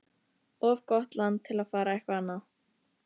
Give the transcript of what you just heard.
Of gott land til að fara eitthvað annað.